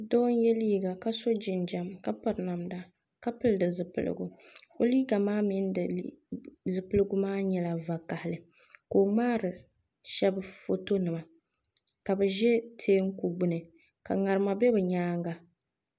Doo n yɛ liiga ka so jinjɛm ka piri namda ka pili di zipiligu o liiga maa mini di zipiligu maa nyɛla vakaɣili ka o ŋmaari shab foto nima ka bi ʒɛ teenku gbuni ka ŋarima bɛ bi nyaaŋa